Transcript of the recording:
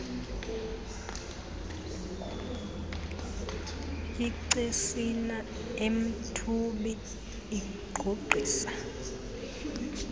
icesina emthubi igqugqisa